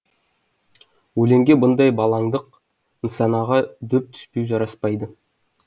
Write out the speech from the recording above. өлеңге бұндай балаңдық нысанаға дөп түспеу жараспайды